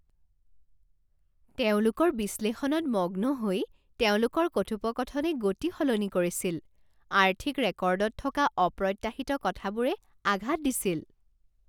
তেওঁলোকৰ বিশ্লেষণত মগ্ন হৈ, তেওঁলোকৰ কথোপকথনে গতি সলনি কৰিছিল, আৰ্থিক ৰেকৰ্ডত থকা অপ্ৰত্যাশিত কথাবোৰে আঘাত দিছিল।